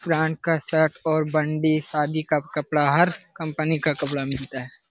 का शर्ट और बंडी शादी का कपड़ा हर कंपनी का कपड़ा मिलता है।